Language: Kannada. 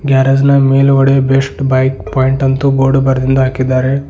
ಗ್ಯಾರೇಜ್ ನ ಮೇಲುಗಡೆ ಬೆಸ್ಟ್ ಬೈಕ್ ಪಾಯಿಂಟ್ ಅಂತು ಬೋರ್ಡು ಬರೆದಿಂದು ಹಾಕಿದ್ದಾರೆ.